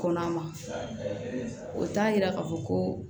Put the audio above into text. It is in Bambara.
Kɔnɔma o t'a yira k'a fɔ ko